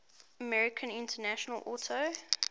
american international auto